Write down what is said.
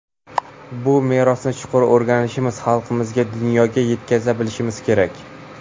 Bu merosni chuqur o‘rganishimiz, xalqimizga, dunyoga yetkaza bilishimiz kerak.